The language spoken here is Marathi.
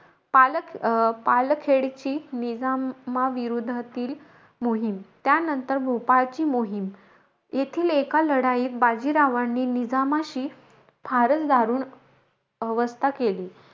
पालक अं पालखेडची निजामाविरोधातील मोहीम, त्यानांतर भोपाळची मोहीम. येथील एका लढाईत, बाजीरावांनी निजामाशी, फारचं दारुण अवस्था केली.